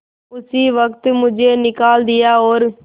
उसी वक्त मुझे निकाल दिया और